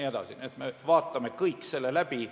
Nii et me vaatame kõik selle läbi.